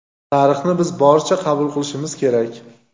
Tarixni biz boricha qabul qilishimiz kerak.